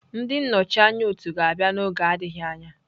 Ndị nnọchi anya otu ga-abịa n'oge adịghị anya